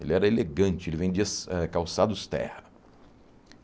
Ele era elegante, ele vendia sa eh calçados terra.